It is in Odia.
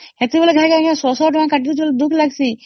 ଏଥିପାଇ ଶହ ଶହ ଟଙ୍କା କାଟି ଦିଏ ବୋଲି ଦୁଃଖ ଲାଗେ